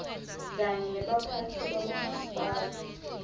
kanye nebaphatsi babomasipala